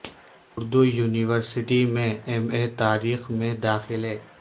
Urdu university میں M A تا ریخ میں دا خلے